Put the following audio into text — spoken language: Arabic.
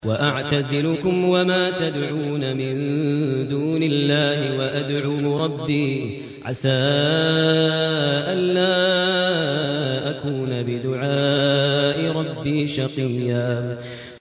وَأَعْتَزِلُكُمْ وَمَا تَدْعُونَ مِن دُونِ اللَّهِ وَأَدْعُو رَبِّي عَسَىٰ أَلَّا أَكُونَ بِدُعَاءِ رَبِّي شَقِيًّا